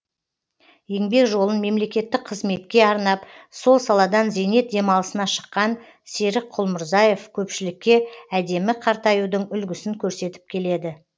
еңбек жолын мемлекеттік қызметке арнап сол саладан зейнет демалысына шыққан серік құлмырзаев көпшілікке әдемі қартаюдың үлгісін көрсетіп келеді